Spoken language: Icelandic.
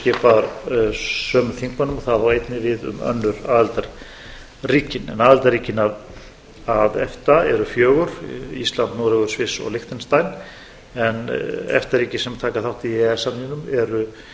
sömu þingmönnum og það á einnig við um önnur aðildarríki en aðildarríkin með efta eru fjögur ísland noregur sviss og liechtenstein en efta ríki sem taka þátt í e e s